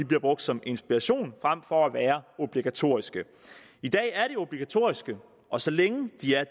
bliver brugt som inspiration frem for at være obligatoriske i dag er de obligatoriske og så længe de er